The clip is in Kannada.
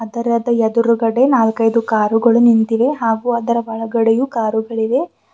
ಅದರದ ಎದುರುಗಡೆ ನಾಲ್ಕೈದು ಕಾರುಗಳು ನಿಂತಿವೆ ಹಾಗೂ ಅದರ ಒಳಗಡೆಯೂ ಕಾರುಗಳಿವೆ.